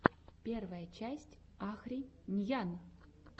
первая часть ахри ньян